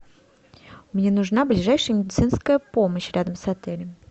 мне нужна ближайшая медицинская помощь рядом с отелем